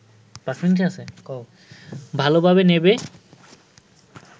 ভালোভাবে নেবে